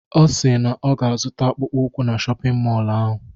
Ọ si na ọ ga-azụta akpụkpọ ụkwụ na shọpịn mọlụ ahụ.